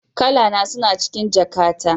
Kalana suna cikin jakata